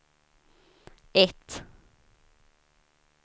ett